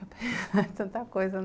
É tanta coisa, né?